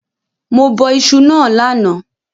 Mo bọ isu náà lánàá